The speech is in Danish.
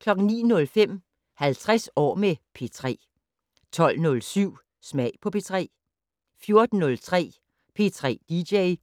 09:05: 50 år med P3 12:07: Smag på P3 14:03: P3 dj